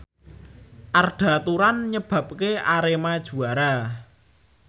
Arda Turan nyebabke Arema juara